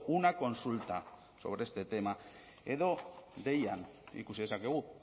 una consulta sobre este tema edo deian ikusi dezakegu